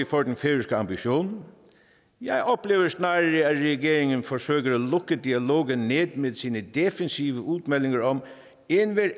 for den færøske ambition jeg oplever snarere at regeringen forsøger at lukke dialogen ned med sine defensive udmeldinger om at enhver